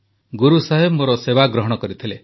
ଗୁରୁସାହେବ ମୋର ସେବା ଗ୍ରହଣ କରିଥିଲେ